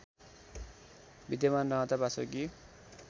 विद्यमान रहँदा वासुकी